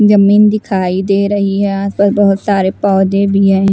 जमीन दिखाई दे रही है आसपास बहुत सारे पौधे भी हैं।